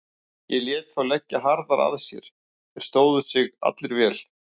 Ég lét þá leggja harðar að sér, þeir stóðu sig allir vel.